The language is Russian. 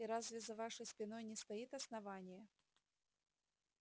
и разве за вашей спиной не стоит основание